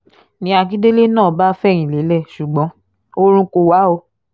ni akíndélé náà bá fẹ̀yìn lélẹ̀ ṣùgbọ́n oorun kò wà o